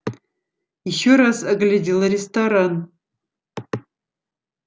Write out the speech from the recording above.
ещё раз оглядел ресторан